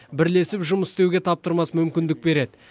бірлесіп жұмыс істеуге таптырмас мүмкіндік береді